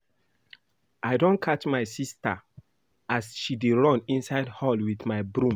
I don catch my sister as she dey run inside hall with my broom